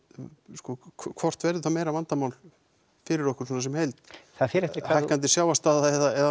sko hvort verður þetta meira vandamál fyrir okkur svona sem heild það fer eftir hækkandi sjávarstaða eða